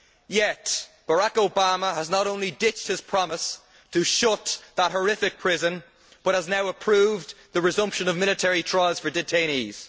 Yet Barrack Obama has not only ditched his promise to shut that horrific prison but has now approved the resumption of military trials for detainees.